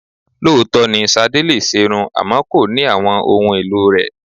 Lóòótọ́ ni Sadé lè ṣerun àmọ́ kò ní àwọn ohun èlò rẹ.